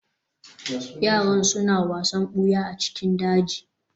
yaran suna wasan buya a cikin daji